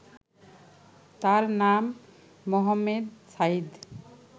তার নাম, মোহামেদ সাইদ